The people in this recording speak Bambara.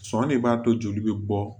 Sɔn ne b'a to joli bɛ bɔ